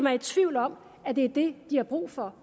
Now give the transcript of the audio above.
er i tvivl om at det er det de har brug for